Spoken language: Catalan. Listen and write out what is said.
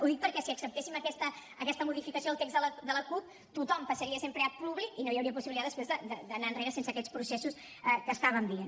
ho dic perquè si acceptéssim aquesta modificació al text de la cup tothom passaria a ser empleat públic i no hi hauria possibilitat després d’anar enrere sense aquests processos que estàvem dient